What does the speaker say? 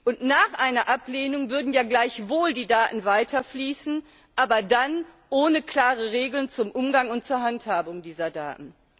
Und nach einer Ablehnung würden ja gleichwohl die Daten weiter fließen, aber dann ohne klare Regeln zum Umgang und zur Handhabung dieser Daten.